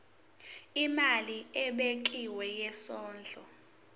imali ebekiwe yesondlo